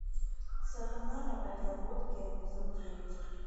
сатана на подработке эпизод девять